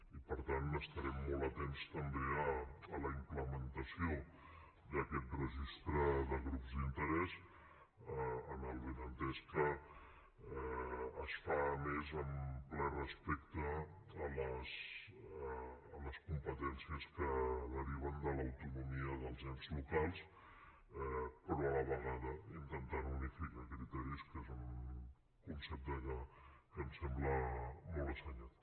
i per tant estarem molt atents també a la implementació d’aquest registre de grups d’interès amb el benentès que es fa més amb ple respecte a les competències que deriven de l’autonomia dels ens locals però a la vegada intentant unificar criteris que és un concepte que ens sembla molt assenyat